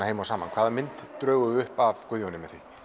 saman hvaða mynd drögum við upp af Guðjóni